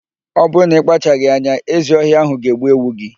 Ọ bụrụ na ị kpachaghị anya, ezi ọhịa ạhụ ga-egbu ewu gị.